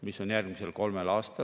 Siis sinna vahepeale, 18% peale maanduti.